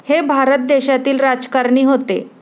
हे भारत देशातील राजकारणी होते.